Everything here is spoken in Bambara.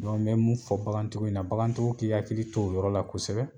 n bɛ mun fɔ bagantigiw ɲɛna bagantigiw k'u hakili to o yɔrɔ la kosɛbɛ